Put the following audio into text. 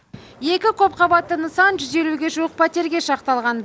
екі көпқабатты нысан жүз елуге жуық пәтерге шақталған